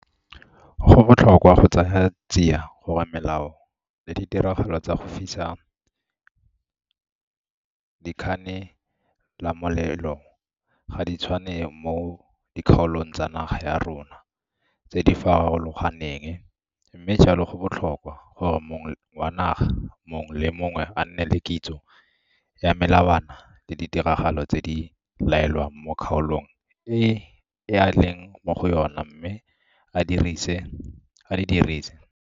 Go botlhokwa go tsaya tsia gore melao le ditiragalo tsa go fisa dikganelamolelo ga di tshwane mo dikgaolong tsa naga ya rona tse di forologaneng, mme jalo go botlhokwa gore mong wa naga mongwe le mongwe a nne le kitso ya melawana le ditiragalo tse di laelwang mo kgaolong e a leng mo go yona mme a di dirise.